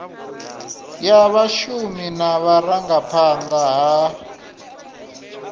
ya vhashumi na vhurangaphanda ha